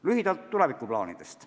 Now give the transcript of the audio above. Lühidalt tulevikuplaanidest.